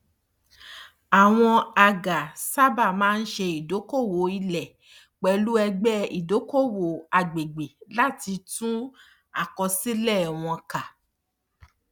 àwọn agà sábà máa ń ṣe ìdokoowó ilé pẹlú ẹgbẹ ìdokoowó agbègbè láti tú àkósílẹ wọn ká